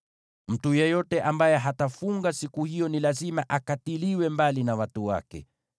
Mtu yeyote ambaye hatafunga siku hiyo ni lazima akatiliwe mbali na watu wake.